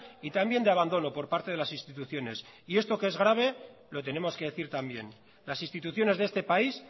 y también de abandono por parte de las instituciones esto que es grave lo tenemos que decir también las instituciones de este país